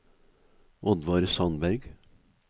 Oddvar Sandberg